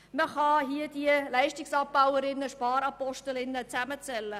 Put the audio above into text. Man kann diese Leistungsabbauer und Sparapostel zusammenzählen.